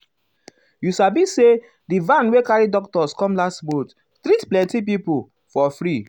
you sabi saydi van wey carry doctors come last month treat plenty um pipo um for free.